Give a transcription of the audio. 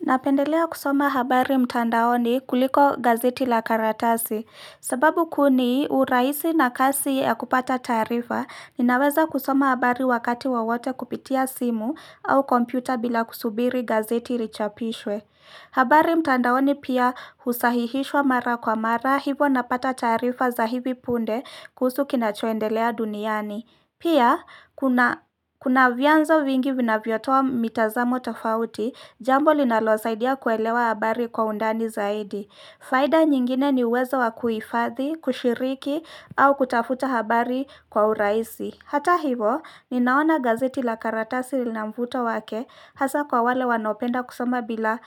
Napendelea kusoma habari mtandaoni kuliko gazeti la karatasi, sababu kuni urahisi na kasi ya kupata taarifa, ninaweza kusoma habari wakati wowote kupitia simu au kompyuta bila kusubiri gazeti richapishwe. Habari mtandaoni pia husahihishwa mara kwa mara hivo napata taarifa za hivi punde kuhusu kinachoendelea duniani. Pia, kuna kuna vyanzo vingi vinavyotoa mitazamo tafauti, jambo linalosaidia kuelewa habari kwa undani zaidi. Faida nyingine ni uwezo wa kuhifadhi, kushiriki, au kutafuta habari kwa urahisi. Hata hivo, ninaona gazeti la karatasi lina mvuto wake hasa kwa wale wanaopenda kusoma bila